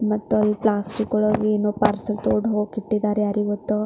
ಮತ್ತೆ ಇಲ್ಲಿ ಪ್ಲಾಸ್ಟಿಕ್ ಒಳಗೆ ಏನೋ ಪಾರ್ಸೆಲ್ ತಗೊಂಡು ಹೋಗೋಕೆ ಇಟ್ಟಿದ್ದಾರೆ ಯಾರಿಗೆ ಗೊತ್ತು --